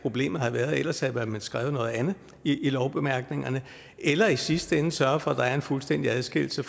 problemet har været ellers havde man vel skrevet noget andet i lovbemærkningerne eller i sidste ende sørget for at der er en fuldstændig adskillelse